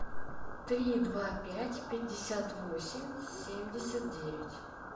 три два пять пятьдесят восемь семьдесят девять